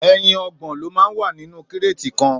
Èyín ọgbọn ló mà n wà ninú kréti kàn